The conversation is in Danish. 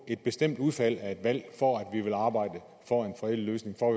et bestemt udfald af et valg for at vi vil arbejde for en fredelig løsning for